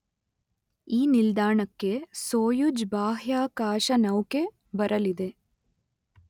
ಈ ನಿಲ್ದಾಣಕ್ಕೆ ಸೊಯುಜ್ ಬಾಹ್ಯಾಕಾಶನೌಕೆ ಬರಲಿದೆ